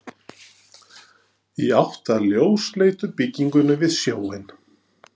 Í átt að ljósleitu byggingunni við sjóinn.